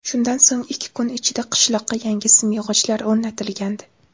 Shundan so‘ng ikki kun ichida qishloqqa yangi simyog‘ochlar o‘rnatilgandi .